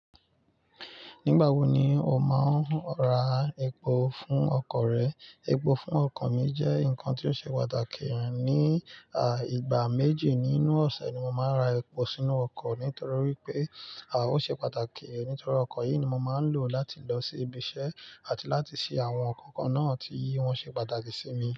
Nígbà wo ni o máa ń ra epo fún ọkọ̀ rẹ? Epo fún ọkọ̀ mi jẹ́ nǹkan tí ó ṣe pàtàkì ní a. Ìgbà méjì nínú ọ̀sẹ̀ ni mo máa ń ra epo sínú ọkọ̀ nítorí pé a ò ṣe pàtàkì. Nítorí ọkọ̀ yìí ni mo máa ń lò láti lọ sí ibi iṣẹ́ àti láti ṣe àwọn nkankan náà tí wọn ṣe pàtàkì sí mi.